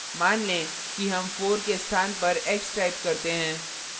मान लें कि हम 4 के स्थान पर x type करते हैं